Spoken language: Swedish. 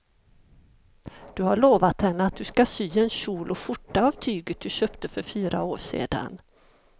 Du har lovat henne att du ska sy en kjol och skjorta av tyget du köpte för fyra år sedan.